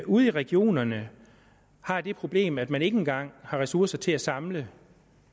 ude i regionerne har det problem at man ikke engang har ressourcer til at samle